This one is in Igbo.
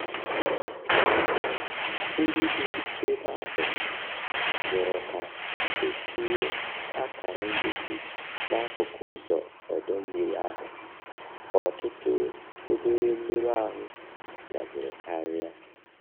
Ndị bi ebe ahụ rịọrọ ka etinye akara ngosi n'akụkụ ụzọ ọdọ mmiri ahụ ka ọtụtụ obere mmerụ ahụ biaziri karia.